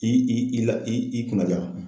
I i i i i la i kunna jala.